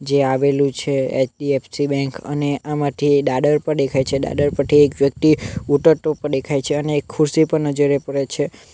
જે આવેલું છે એચ_ડી_એફ_સી બેન્ક અને આમાંથી દાદર પણ દેખાય છે દાદર પરથી એક વ્યક્તિ ઉતરતો પણ દેખાય છે અને એક ખુરશી પર નજરે પડે છે.